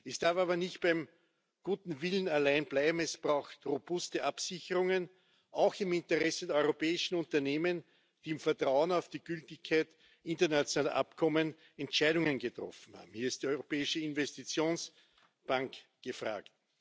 Es darf aber nicht beim guten Willen allein bleiben, es braucht robuste Absicherungen auch im Interesse der europäischen Unternehmen, die im Vertrauen auf die Gültigkeit internationaler Abkommen Entscheidungen getroffen haben. Hier ist die Europäische Investitionsbank gefragt.